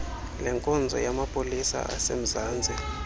lenkonzo yamapolisa asemzantsi